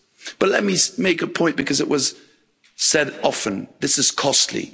But let me make a point, because it was said often this is costly.